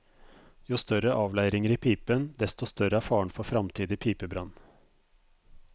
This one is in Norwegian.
Jo større avleiringer i pipen, desto større er faren for fremtidig pipebrann.